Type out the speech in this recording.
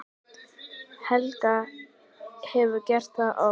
Helga: Hefurðu gert það oft?